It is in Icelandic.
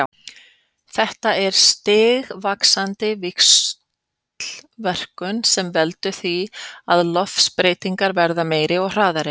Þetta er stigvaxandi víxlverkun sem veldur því að loftslagsbreytingar verða meiri og hraðari.